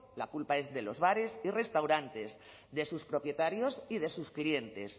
la culpa es de los bares y restaurantes de sus propietarios y de sus clientes